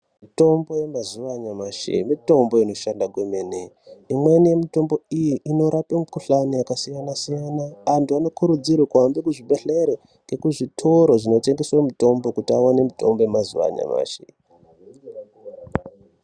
Mitombo yemazuwa anyamashi mitombo inoshanda kwemene. Imweni yemutombo iyi inorape mukhuhlani yakasiyana-siyana. Antu anokurudzirwe kuhambe kuzvibhedhlere nekuzvitoro zvinotengeswe mitombo kuti aone mitombo yemazuwa anyamashi iyi